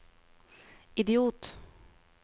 idiot